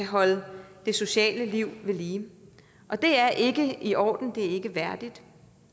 holde det sociale liv ved lige og det er ikke i orden det er ikke værdigt